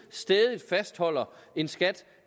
stædigt fastholder en skat